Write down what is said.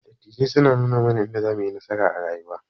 Dattijai suna nuna mana yadda zamuyi nasara a rayuwa.